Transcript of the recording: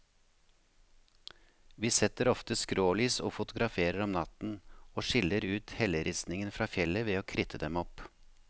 Vi setter ofte skrålys og fotograferer om natten, og skiller ut helleristningen fra fjellet ved å kritte dem opp.